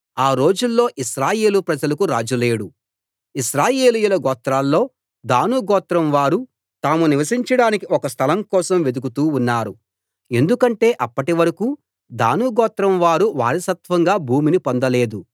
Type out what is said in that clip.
ఆ రోజుల్లో ఇశ్రాయేలు ప్రజలకు రాజు లేడు ఇశ్రాయేలీయుల గోత్రాల్లో దాను గోత్రం వారు తాము నివసించడానికి ఒక స్థలం కోసం వెదుకుతూ ఉన్నారు ఎందుకంటే అప్పటి వరకూ దాను గోత్రం వారు వారసత్వంగా భూమిని పొందలేదు